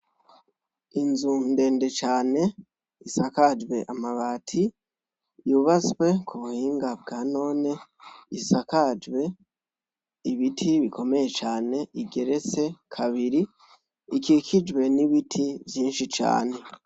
Inzu ndende can' isakajw' amati, yubatswe kubuhinga bwa none, isakajw' ibiti bikomeye can' igeretse kabiri, ikikijwe n' ibiti vyinshi cane